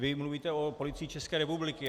Vy mluvíte o Policii České republiky.